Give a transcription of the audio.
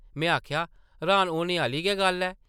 में आखेआ, र्हान होने आह्ली गै गल्ल ऐ ।